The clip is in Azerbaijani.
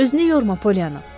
Özünü yorma, Pollyana.